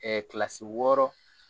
Ɛ kilasi wɔɔrɔ